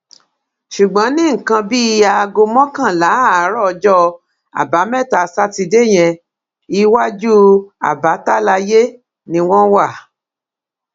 ṣùgbọn ní nǹkan bíi aago mọkànlá àárọ ọjọ àbámẹta sátidé yẹn iwájú abbatalaye ni wọn wà